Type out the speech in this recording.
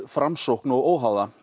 Framsókn og óháðum